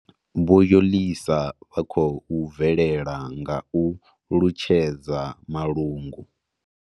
Vho Yolisa vha khou bvelela nga u lunzhedza malungu.